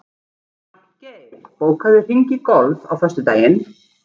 Magngeir, bókaðu hring í golf á föstudaginn.